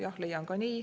Jah, ma leian ka nii.